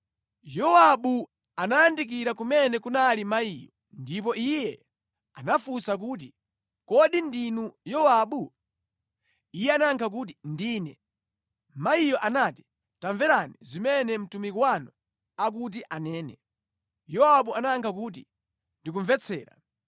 Yowabu anayandikira kumene kunali mayiyo, ndipo iye anafunsa kuti, “Kodi ndinu Yowabu?” Iye anayankha kuti, “Ndine.” Mayiyo anati, “Tamverani zimene mtumiki wanu akuti anene.” Yowabu anayankha kuti, “Ndikumvetsera.”